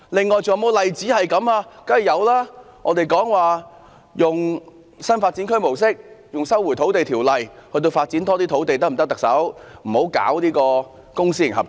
我們曾向特首建議，當局應採用新發展區模式，引用《收回土地條例》，以發展更多土地，不要搞公私營合作。